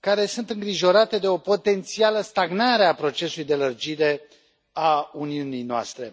care sunt îngrijorate de o potențială stagnare a procesului de lărgire a Uniunii noastre.